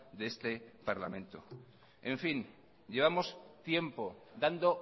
de este parlamento en fin llevamos tiempo dando